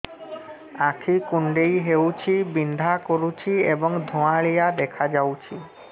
ଆଖି କୁଂଡେଇ ହେଉଛି ବିଂଧା କରୁଛି ଏବଂ ଧୁଁଆଳିଆ ଦେଖାଯାଉଛି